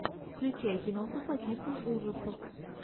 включай киноху по типу ужасов